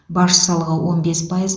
баж салығы он бес пайыз